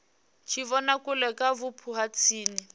tshivhonakule kha vhupo ha tsini